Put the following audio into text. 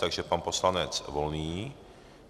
Takže pan poslanec Volný .